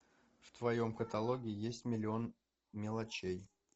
в твоем каталоге есть миллион мелочей